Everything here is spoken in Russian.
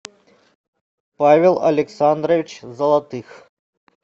павел александрович золотых